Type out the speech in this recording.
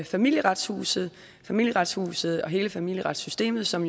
familieretshuset familieretshuset og hele familieretssystemet som